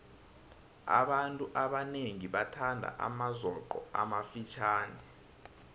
abantu abanengi bathanda amazoqo amafitjhani